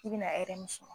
I bɛna hɛrɛ min sɔrɔ